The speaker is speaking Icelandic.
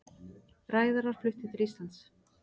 Ræðarar fluttir til Íslands